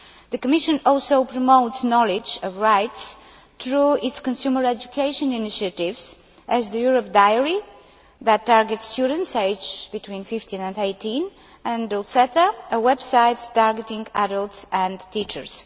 The Commission also promotes knowledge of rights through its consumer education initiatives such as the Europe diary' that targets students aged between 15 and 18 and Dolceta a website targeting adults and teachers.